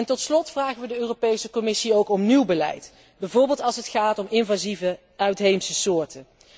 Tot slot vragen wij de Europese Commissie ook om nieuw beleid, bijvoorbeeld als het gaat om invasieve uitheemse soorten.